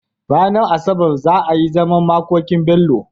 Ranar asabar za a yi zaman makokin Bello